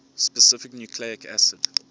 specific nucleic acid